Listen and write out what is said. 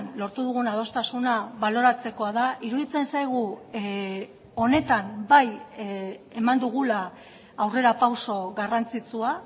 lortu dugun adostasuna baloratzekoa da iruditzen zaigu honetan bai eman dugula aurrerapauso garrantzitsua